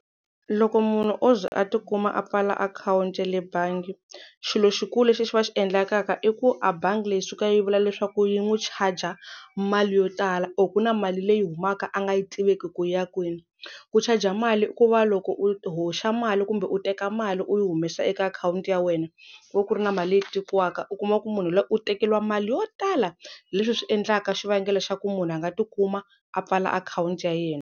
Loko munhu o ze a tikuma a pfala akhawunti ya le bangi xilo xikulu lexi a xi va xi endlakaka i ku a bangi leyi yi suka yi vula leswaku yi n'wi chaja mali yo tala or ku na mali leyi humaka a nga yi tiveki ku ya kwini ku chaja mali i ku va loko u hoxa mali kumbe u teka mali u humesa eka akhawunti ya wena ku va ku ri na mali leyi tekiwaka u kuma ku munhu loyi u tekeriwa mali yo tala leswi swi endlaka xivangelo xa ku munhu a nga tikuma a pfala akhawunti ya yena.